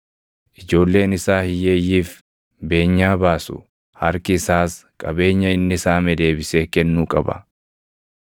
Ijoolleen isaa hiyyeeyyiif beenyaa baasu; harki isaas qabeenya inni saame deebisee kennuu qaba.